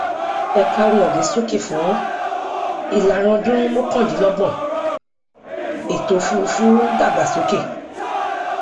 ẹka ohun ọgbìn súnkì fún ìlàrinọdún mọkàndínlọgbọn ètòòfùrúfú ń dàgbásókè